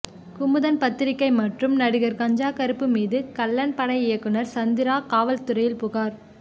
குமுதம் பத்திரிகை மற்றும் நடிகர் கஞ்சா கருப்பு மீது கள்ளன் பட இயக்குனர் சந்திரா காவல்துறையில் புகார்